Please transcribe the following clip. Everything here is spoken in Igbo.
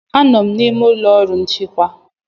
Anọ m n'ime ụlọ ọrụ nchịkwa.